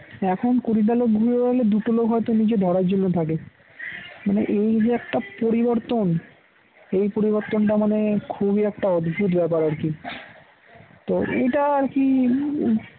এখন কুড়িটা লোক ঘুড়ি উড়ালে দুটো লোক হয়তো নিচে ধরার জন্য থাকে। মানে এই যে একটা পরিবর্তন এই পরিবর্তনটা মানে খুবই একটা অদ্ভুত ব্যাপার আর কি তো এটা আর কি